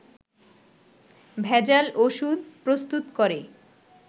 ভেজাল ওষুধ প্রস্তুত করে